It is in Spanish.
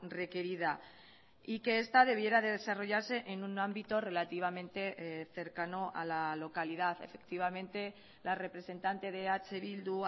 requerida y que esta debiera de desarrollarse en un ámbito relativamente cercano a la localidad efectivamente la representante de eh bildu